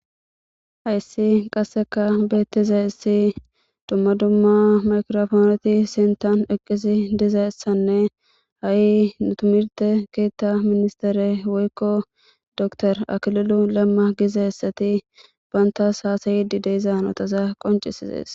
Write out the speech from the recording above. Hayssi qasseka beettiza issi dumma dumma makrofooneti sintan eqqisi dizaessanne ha'i nutimirte keetta ministere woykko dotor aklolu lamma gizayssati bantas haasayidi deeizan otaza qoncisizees.